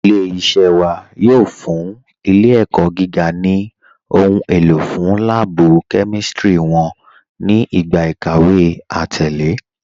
Ilẹ̀-iṣẹ̀ wà yóò fún ilẹ̀-ẹ̀kọ́ gígà ni ohun èlò fún lààbú kẹmístírí wọn ni igba ikàwé àtẹ̀lẹ̀.